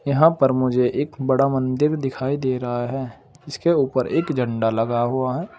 यहां पर मुझे एक बड़ा मंदिर दिखाई दे रहा है इसके ऊपर एक झंडा लगा हुआ है।